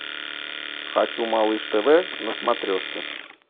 хочу малыш тв на смотрешке